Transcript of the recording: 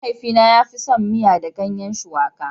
Mahaifina ya fi son miya da ganye shuwaƙa